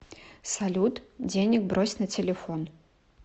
салют денег брось на телефон